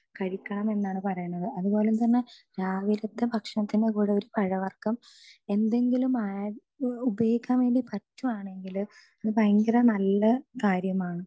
speaker 2 ഭക്ഷണം കഴിക്കണമെന്നാണ് പറയുന്നത് അതുപോലെതന്നെ രാവിലത്തെ ഭക്ഷണത്തിന്റെ കൂടെ ഒരു പഴവർഗം എന്തെങ്കിലും ഉപയോഗിക്കാൻ കൂടി പറ്റുവാണെങ്കിൽ അത് ഭയങ്കര നല്ല കാര്യമാണ്